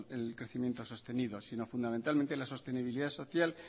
el crecimiento sostenido sino fundamentalmente la sostenibilidad social